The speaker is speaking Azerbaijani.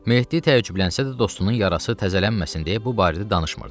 Mehdi təəccüblənsə də, dostunun yarası təzələnməsin deyə bu barədə danışmırdı.